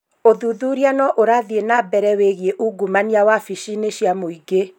Ũthuthuria no ũrathiĩ nambere wĩgiĩ ungumania wabici-inĩ cia mũingĩ